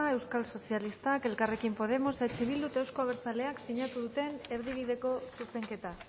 euskal sozialistak eta elkarrekin podemos eh bildu eta euzko abertzaleak sinatu duten erdibideko zuzenketa